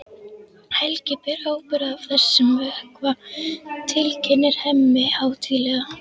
Helgi ber ábyrgð á þessum vökva, tilkynnir Hemmi hátíðlega.